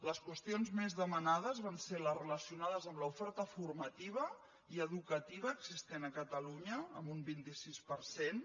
les qüestions més demanades van ser les relacionades amb l’oferta formativa i educativa existent a catalunya amb un vint sis per cent